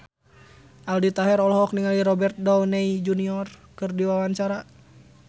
Aldi Taher olohok ningali Robert Downey keur diwawancara